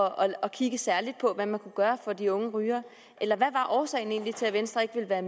at kigge særligt på hvad man kunne gøre for de unge rygere eller hvad var årsagen egentlig til at venstre ikke ville være